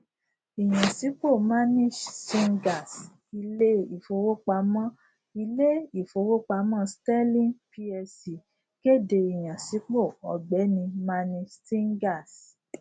ìyànsípò manish singhals ilé ìfowópamọ ilé ìfowópamọ sterling plc kéde ìyànsípò ọgbẹni manish singhals